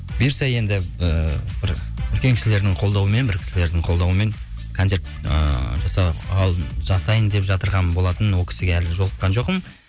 бұйырса енді ыыы бір үлкен кісілердің қолдауымен бір кісілердің қолдауымен концерт ыыы жасайын деп жатырған болатынмын ол кісіге әлі жолыққан жоқпын